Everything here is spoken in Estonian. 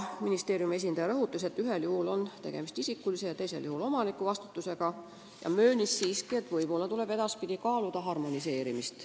Ministeeriumi esindaja rõhutas, et ühel juhul on tegemist isiku ja teisel juhul omaniku vastutusega, aga ta möönis siiski, et võib-olla tuleb edaspidi kaaluda ühtlustamist.